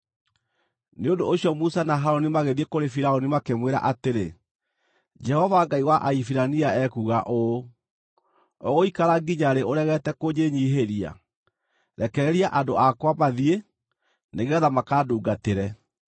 Nĩ ũndũ ũcio Musa na Harũni magĩthiĩ kũrĩ Firaũni makĩmwĩra atĩrĩ, “Jehova Ngai wa Ahibirania ekuuga ũũ: ‘Ũgũikara nginya rĩ ũregete kũnjĩnyiihĩria? Rekereria andũ akwa mathiĩ, nĩgeetha makandungatĩre.